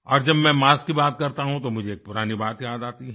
और जब मैं मास्क की बात करता हूँ तो मुझे पुरानी बात याद आती हैं